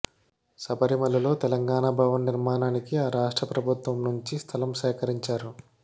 శబరిమలలో తెలంగాణ భవన్ నిర్మాణానికి ఆ రాష్ట్ర ప్రభుత్వం నుంచి స్థలం సేకరించారు